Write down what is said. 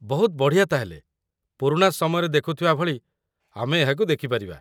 ବହୁତ ବଢ଼ିଆ ତା'ହେଲେ, ପୁରୁଣା ସମୟରେ ଦେଖୁଥିବା ଭଳି ଆମେ ଏହାକୁ ଦେଖିପାରିବା।